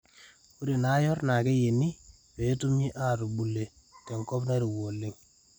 ore naayor naa keyieni peetumoki atubule tenkop Nairowua oleng